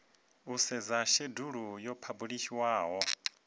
u sedza shedulu yo phabulishiwaho